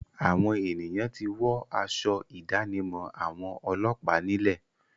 Àwọn ènìyàn ti wọ́ aṣọ ìdánimọ̀ àwọn ọlọ́pàá nílẹ̀.